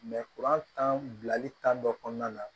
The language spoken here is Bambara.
kuran tan bilali tan dɔ kɔnɔna na